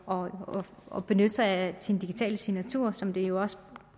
og og benytte sig af sin digitale signatur som det jo også